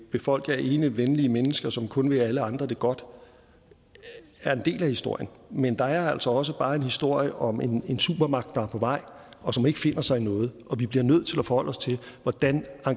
befolket alene af venlige mennesker som kun vil alle andre det godt er en del af historien men der er altså også bare en historie om en supermagt der er på vej og som ikke finder sig i noget og vi bliver nødt til at forholde os til hvordan